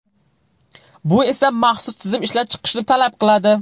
Bu esa maxsus tizim ishlab chiqishni talab qiladi.